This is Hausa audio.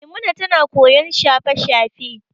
Maimuna tana koyon shafe-shafe.